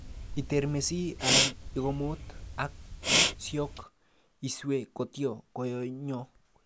Itermesi alan ikomot ak siyok iswe kotyo koyomyo